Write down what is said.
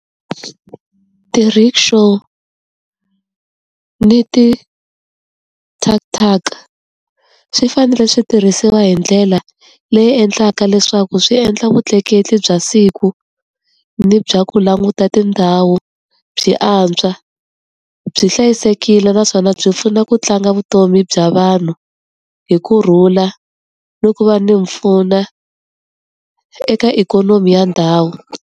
Ti-rickshaw na ti-tuk-tuk swi fanele swi tirhisiwa hi ndlela leyi endlaka leswaku swi endla vutleketli bya siku ni bya ku languta tindhawu byi antswa, byi hlayisekile, naswona byi pfuna ku tlanga vutomi bya vanhu hi kurhula, ni ku va ni mpfuno eka ikhonomi ya ndhawu.